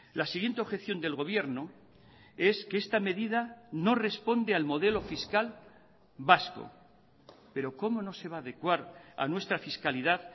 la siguiente objeción del gobierno es que esta medida no responde al modelo fiscal vasco pero cómo no se va a adecuar a nuestra fiscalidad